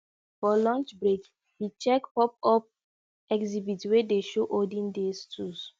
for lunch break he check popup exhibit wey dey show olden days tools